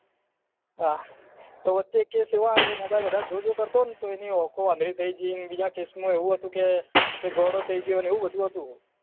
આ તો વચે એક કેસ એવો આયો હતો કે એ mobile વધારે જો જો કરતો તો એની આંખો આંધળી થઇ ગઈ બીજા કેસમાં એવું હતું કે ગોડો થઇ ગયો ને એવું બધું હતું